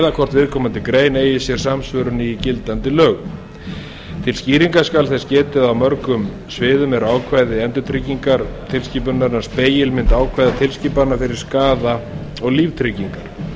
eða hvort viðkomandi grein eigi sér samsvörun í gildandi lögum til skýringa skal þess getið að á mörgum sviðum eru ákvæði endurtryggingatilskipunarinnar spegilmynd ákvæða tilskipana um skaða og líftryggingar